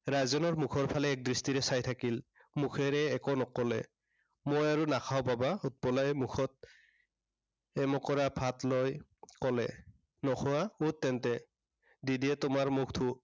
ৰাজনেৰ মুখৰ ফালে এক দৃষ্টিৰে চাই থাকিল। মুখেৰে একো নকলে। মই আৰু নাখাঁও বাবা। উৎপলাই মুখত এমোকোৰা ভাত লা কলে। নোখোৱা, উঠ তেন্তে। দিদিয়ে তোমাৰ মুখ